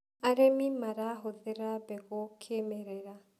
arĩmi marahuthira mbegũ kĩmerera